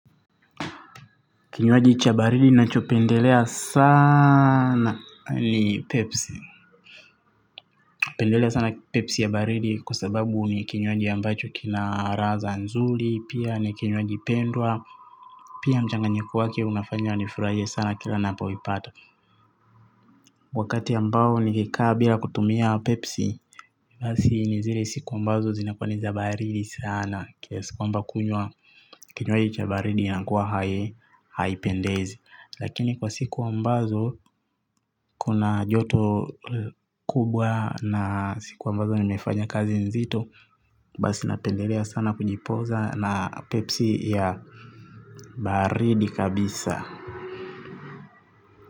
Kinywaji cha baridi nacho pendelea sana ni pepsi napendelea sana pepsi ya baridi kwa sababu ni kinywaji ambacho kina ladha nzuri. Pia ni kinywaji pendwa. Pia mchanganyiko wake unafanya ni furahie sana kila napaipata. Wakati ambao nikikaa bila kutumia pepsi basi ni zile siku ambazo zinakua nizabaridi sana kiasi kwamba kunywa kinywaji cha baridi inakuwa hai haipendezi. Lakini kwa siku ambazo kuna joto kubwa na siku ambazo nimefanya kazi nzito. Basi napendelea sana kujipoza na pepsi ya baridi kabisa.